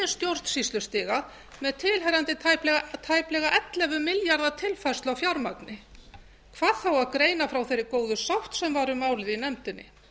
stjórnsýslustiga með tilheyrandi tæplega ellefu milljarða tilfærslu á fjármagni hvað þá að greina frá þeirri góðu sátt sem var um málið í nefndinni